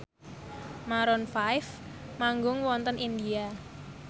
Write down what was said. Maroon 5 manggung wonten India